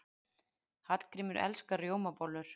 Hallgrímur elskar rjómabollur.